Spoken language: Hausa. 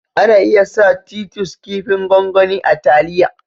Ana iya sa " Titus" kipin gwangwani a taliya.